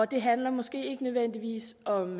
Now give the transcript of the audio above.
det handler måske ikke nødvendigvis om